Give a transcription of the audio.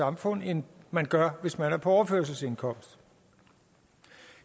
samfund end man gør hvis man er på overførselsindkomst